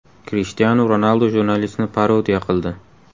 Krishtianu Ronaldu jurnalistni parodiya qildi .